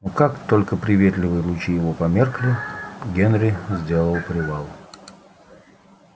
но как только приветливые лучи его померкли генри сделал привал